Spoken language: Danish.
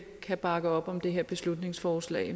kan bakke op om det her beslutningsforslag